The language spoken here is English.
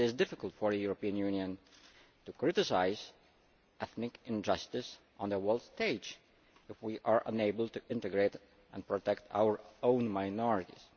It is difficult for the European Union to criticise ethnic injustice on the world stage if we are unable to integrate and protect our own minorities.